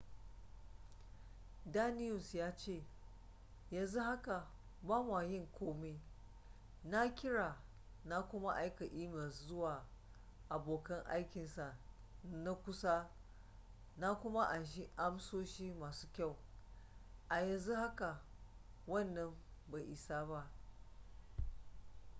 danius ya ce yanzu haka ba mwa yin komi na kira na kuma aika emails zuwa abokan aikinsa na kusa na kuma anshi amsoshi masu kyau a yanzu haka wannan bai isa ba